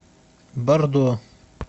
бордо